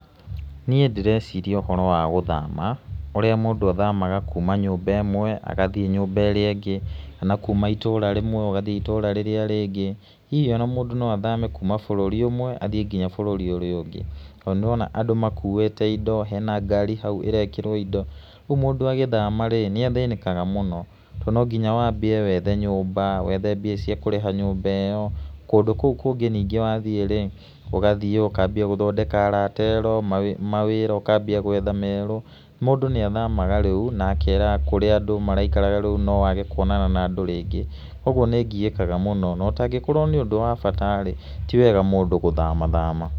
Nĩe ndĩreciria ũhoro wa gũthama, ũrĩa mũndũ athamaga kuma nyũmba ĩmwe agathĩe nyũmba ĩrĩa ĩngĩ, kana kuma itũra rĩmwe ũgathĩe itũra rĩrĩa rĩngĩ, hihi ona mũndũ no athame kuma bũrũri ũmwe athĩe nginya bũrũri ũrĩa ũngĩ to nĩ ndĩrona andũ makũĩte indo hena ngari hau ĩrekĩrwo indo ũguo mũndũ agĩthama rĩ, nĩ athĩnĩkaga mũno to no nginya wambie wethe nyũmba, wethe mbia cia kũrĩha nyũmba ĩyo kũndũ kũũ kũngĩ ningĩ wathĩe-rĩ ũgathĩe ũkambia gũthondeka arata erũ mawĩra ũkambia gũetha merũ mũndũ nĩ athamaga rĩu na akeraga andũ kũrĩa maraikaraga rĩu no age kũonana na andũ rĩngĩ kwa ũguo nĩngiekaga mũno na ũtangĩkorwo nĩ ũndũ wa bata rĩ, ti wega mũndũ gũthama thama.